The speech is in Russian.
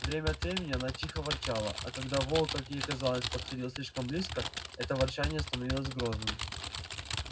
время от времени она тихо ворчала а когда волк как ей казалось подходил слишком близко это ворчание становилось грозным